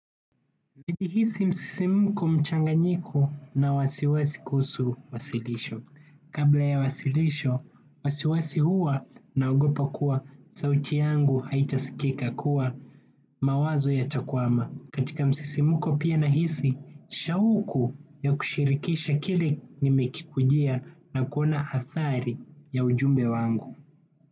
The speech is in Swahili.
Nikihisi msisimko mchanganyiko na wasiwasi kuhusu wasilisho. Kabla ya wasilisho wasiwasi huwa naogopa kuwa sauti yangu haitaskika kuwa mawazo yatakwama katika msisimko pia nahisi, shauku ya kushirikisha kile nimekikujia na kuona athari ya ujumbe wangu.